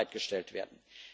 Euro bereitgestellt werden.